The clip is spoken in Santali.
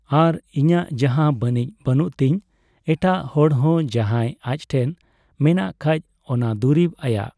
ᱟᱨ ᱤᱧᱟᱹᱜ ᱡᱟᱦᱟ ᱵᱟᱹᱱᱩᱡ ᱵᱟᱹᱱᱩᱜ ᱛᱤᱧ ᱮᱴᱟᱜ ᱦᱚᱲ ᱦᱚᱸ ᱡᱟᱦᱟᱭ ᱟᱡᱴᱷᱮᱡ ᱢᱮᱱᱟᱜ ᱠᱷᱟᱡ ᱚᱱᱟ ᱫᱩᱨᱤᱵ ᱟᱭᱟᱜ